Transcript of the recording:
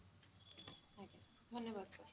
ଧନ୍ୟବାଦ